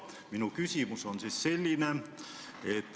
Minu küsimus on selline.